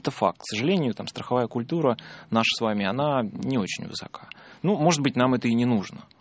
это факт к сожалению там страховая культура наша с вами она не очень высока ну может быть нам это и не нужно